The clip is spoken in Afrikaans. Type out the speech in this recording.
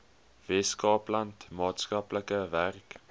weskaapland maatskaplike werk